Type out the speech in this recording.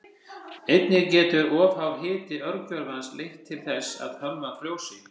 Einnig getur of hár hiti örgjörvans leitt til þess að tölvan frjósi.